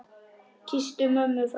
Kysstu mömmu frá mér.